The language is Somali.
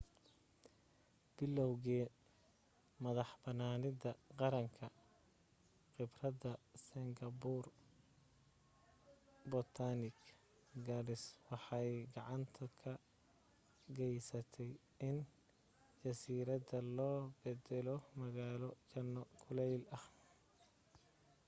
bilowgii madaxbanaanida qaranka khibradda singapore botanic gardens waxay gacan ka gaysatay in jasiiradda loo beddelo magaalo janno kuleyl ah